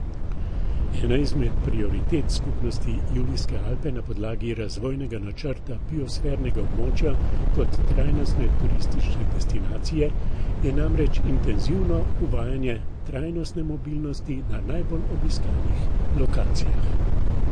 Ena izmed prioritet skupnosti Julijske Alpe na podlagi razvojnega načrta biosfernega območja kot trajnostne turistične destinacije je namreč intenzivno uvajanje trajnostne mobilnosti na najbolj obiskanih lokacijah.